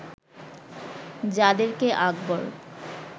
যাদের কে আকবর